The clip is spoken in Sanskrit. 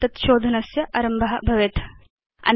परिणामत हिस्टोरी द्वारा तत् शोधनस्य आरम्भ भवेत्